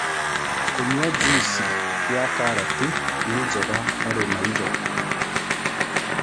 Kũnyua jũĩsĩ ya karatĩ nĩ njega harĩ maĩtho